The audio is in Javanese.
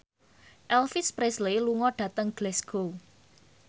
Elvis Presley lunga dhateng Glasgow